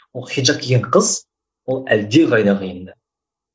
ол хиджап киген қыз ол әлдеқайда қиын да